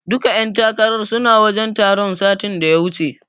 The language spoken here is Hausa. Duka ƴan takarar suna wajen taron satin da ya wuce.